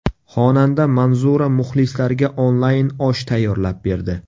Xonanda Manzura muxlislariga onlayn osh tayyorlab berdi.